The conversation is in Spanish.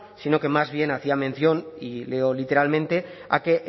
sino que más bien hacía mención y leo literalmente a que